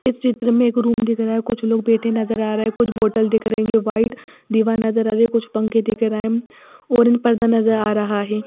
इस चित्र में एक रूम दिख रहा है कुछ लोग बैठे नजर आ रहे हैं कुछ बोटल दिख रहे है वाइट दीवार नजर आ रही है कुछ पंखे दिख रहे हैं ओरेज पर्दा नजर आ रहा है।